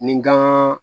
Ni gan